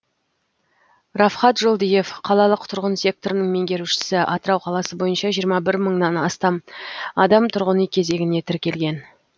рафхат жолдиев қалалық тұрғын секторының меңгерушісі атырау қаласы бойынша жиырма бір мыңнан астам адам тұрғын үй кезегіне тіркелген